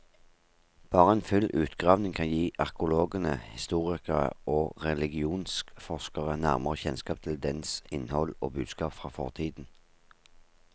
Bare en full utgravning kan gi arkeologene, historikere og religionsforskere nærmere kjennskap til dens innhold og budskap fra fortiden.